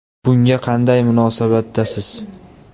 Bunga qanday munosabatdasiz?